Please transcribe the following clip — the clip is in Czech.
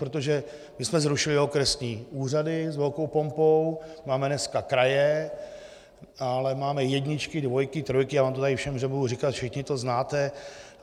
Protože my jsme zrušili okresní úřady s velkou pompou, máme dneska kraje, ale máme jedničky, dvojky, trojky, já vám to tady všem nebudu říkat, všichni to znáte.